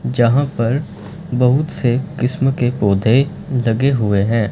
जहां पर बहुत से किस्म के पौधे लगे हुए हैं।